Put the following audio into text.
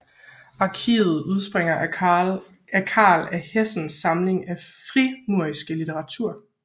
Arkivet udspringer af Carl af Hessens samling af frimurerisk litteratur